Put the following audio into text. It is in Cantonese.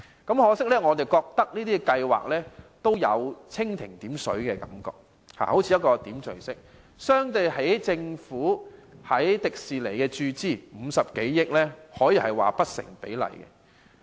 可惜，我們認為這些計劃給人蜻蜓點水的感覺，相對於政府在迪士尼注資50多億元，可說是不成比例。